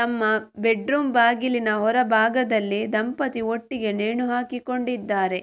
ತಮ್ಮ ಬೆಡ್ರೂಮ್ ಬಾಗಿಲಿನ ಹೊರಭಾಗದಲ್ಲಿ ದಂಪತಿ ಒಟ್ಟಿಗೇ ನೇಣು ಹಾಕಿಕೊಂಡಿದ್ದಾರೆ